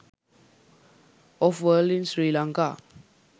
of world in sri lanka